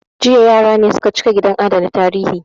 Jiya yara ne su ka cika gidan adana tarihi